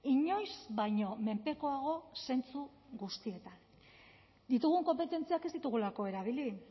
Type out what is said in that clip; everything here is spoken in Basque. inoiz baino menpekoago zentzu guztietan ditugun konpetentziak ez ditugulako erabili